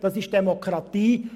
Das ist Demokratie.